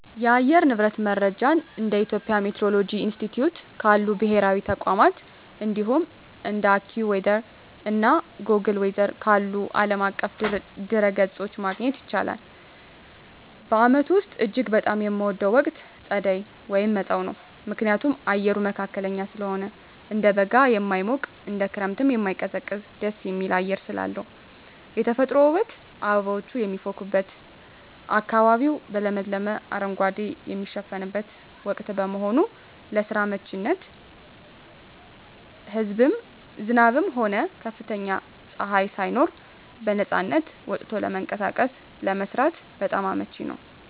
የአየር ንብረት መረጃን እንደ የኢትዮጵያ ሚቲዎሮሎጂ ኢንስቲትዩት ካሉ ብሔራዊ ተቋማት፣ እንዲሁም እንደ AccuWeather እና Google Weather ካሉ ዓለም አቀፍ ድረ-ገጾች ማግኘት ይቻላል። በዓመቱ ውስጥ እጅግ በጣም የምወደው ወቅት ጸደይ (መጸው) ነው። ምክንያቱም፦ አየሩ መካከለኛ ስለሆነ፦ እንደ በጋ የማይሞቅ፣ እንደ ክረምትም የማይቀዘቅዝ ደስ የሚል አየር ስላለው። የተፈጥሮ ውበት፦ አበቦች የሚፈኩበትና አካባቢው በለመለመ አረንጓዴ የሚሸፈንበት ወቅት በመሆኑ። ለስራ አመቺነት፦ ዝናብም ሆነ ከፍተኛ ፀሐይ ሳይኖር በነፃነት ወጥቶ ለመንቀሳቀስና ለመስራት በጣም አመቺ ነው።